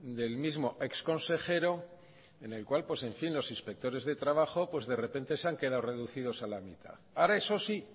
del mismo ex consejero en el cual los inspectores de trabajo de repente se han quedado reducidos a la mitad ahora eso sí